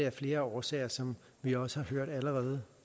af flere årsager som vi også har hørt allerede